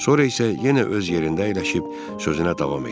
Sonra isə yenə öz yerində əyləşib sözünə davam etdi.